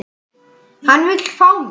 Hann vill fá mig.